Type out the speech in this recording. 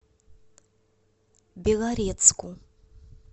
белорецку